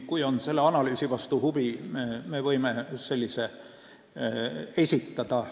Kui sellise analüüsi vastu on huvi, siis me võime selle esitada.